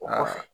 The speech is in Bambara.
O nɔfɛ